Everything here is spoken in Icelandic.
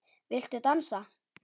Viltu dansa?